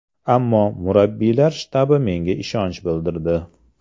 Ammo, murabbiylar shtabi menga ishonch bildirdi.